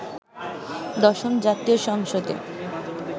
দশম জাতীয় সংসদে